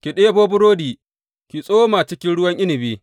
Ki ɗebo burodi ki tsoma cikin ruwan inabi.